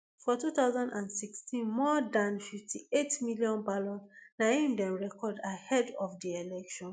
for two thousand and sixteen more dan fifty-eight million ballots na im dem record ahead of di election